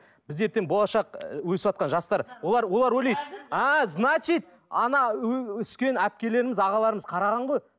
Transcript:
біз ертең болашақ ы өсіватқан жастар олар олар ойлайды а значит ана өскен әпкелеріміз ағаларымыз қараған ғой